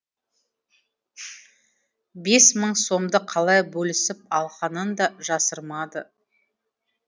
бес мың сомды қалай бөлісіп алғанын да жасырмады